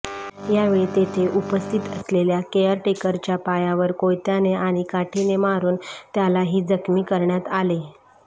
यावेळी तेथे उपस्थित असलेल्या केअर टेकरच्या पायावर कोयत्याने आणि काठीने मारून त्यालाही जखमी करण्यात आले